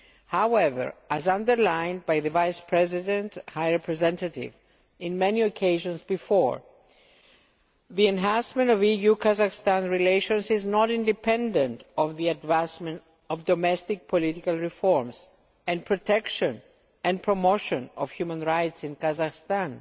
However, as underlined by the Vice President High Representative on many occasions before, the enhancement of EU Kazakhstan relations is not independent of the advancement of domestic political reforms and the protection and promotion of human rights in Kazakhstan.